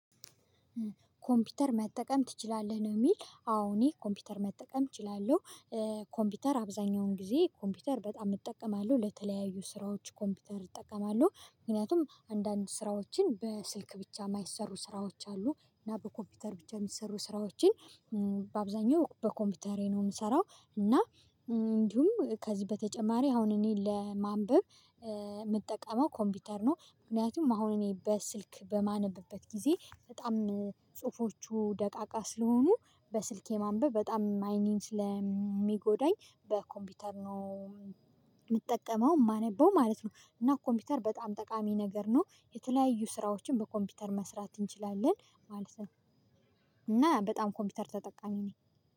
ኮምፒውተር መጠቀም ትችላለህ ነው? የሚል አዎ እኔ ኮምፒውተር መጠቀም እችላለሁ። ኮምፒውተር አብዛኛውን ጊዜ ኮምፒውተር በጣም እጠቀማለሁ ለተለያዩ ስራዎች ኮምፒውተር እጠቀማለሁ ምክንያቱም አንዳንድ ስራዎችን በስልክ ብቻ የማይሰሩ ስራዎች አሉ እና በኮምፒውተር ብቻ የሚሰሩ ስራዎችን በአብዛኛው በኮምፒውተሬ ነው የምሰራው። እና እንዲሁም ከዚህ በተጨማሪ አሁን እኔን ለማንበብ የምጠቀመው ኮምፒውተር ነው ምክንያቱም አሁን እኔ በስልክ በማነብበት ጊዜ በጣም ጽሁፎቹ ደቃቃ ስለሆኑ በስልኬ ማንበብ በጣም አይኔን ስለሚጎዳኝ በኮምፒውተር ነው። የምጠቀመው የማነበው ማለት ነው። እና ኮምፒውተር በጣም ጠቃሚ ነገር ነው የተለያዩ ስራዎችን በኮምፒውተር መስራት እንችላለን ማለት ነው። እና በጣም ኮምፒውተር ተጠቃሚ ነኝ።